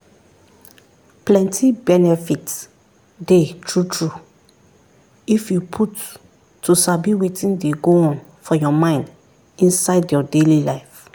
plenty benefit dey true-true if you put to sabi wetin dey go on for your mind inside your daily life.